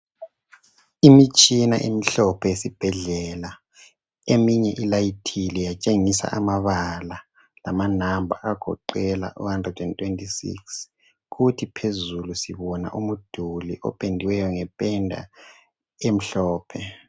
Imitshina emhlophe yesibhedlela eyinye ilayithile yatshengisa amabala lamanamba agoqela u126 kuthi phezulu sibona umduli opendwe ngependa emhlophe